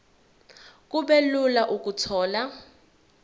kube lula ukuthola